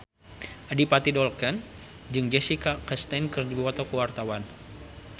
Adipati Dolken jeung Jessica Chastain keur dipoto ku wartawan